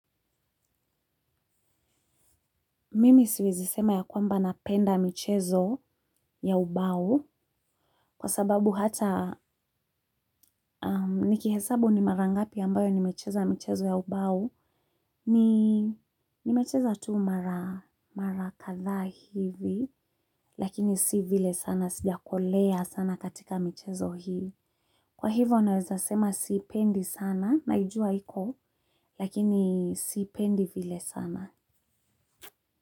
Mimi siwezi sema ya kwamba napenda michezo ya ubao kwa sababu hata nikihesabu ni mara ngapi ambayo nimecheza michezo ya ubao ni nimecheza tu mara kadhaa hivi lakini si vile sana sijakolea sana katika michezo hii kwa hivo naweza sema siipendi sana naijua iko lakini siipendi vile sana.